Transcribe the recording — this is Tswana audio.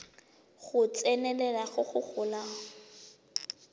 go tsenelela go go golang